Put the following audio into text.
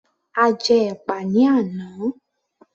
A jẹ́ ẹ̀pà ní àná